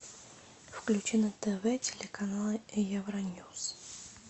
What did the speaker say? включи на тв телеканал евроньюс